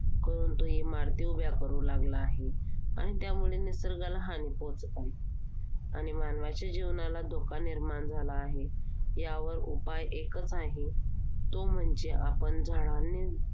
करून तो इमारती उभ्या करू लागला आहे. आणि त्यामुळे निसर्गाला हानी पोहोचत आहे. आणि मानवाच्या जीवनाला धोका निर्माण झाला आहे. यावर उपाय एकच आहे, तो म्हणजे आपण झाडांनी